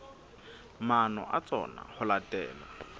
maano a tsona ho latela